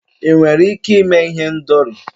ị nwere ike ime ihendori?